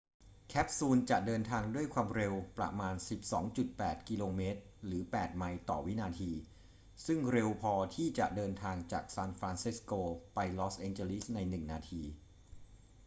แคปซูลจะเดินทางด้วยควาวมเร็วประมาณ 12.8 กม. หรือ 8 ไมล์ ต่อวินาที ซึ่งเร็วพอที่จะเดินทางจากซานฟรานซิสโกไปลอสแอนเจลิสในหนึ่งนาที